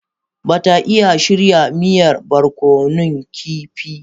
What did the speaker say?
Ba ta iya shirya miyar barkonun kifi.